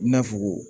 I n'a fɔ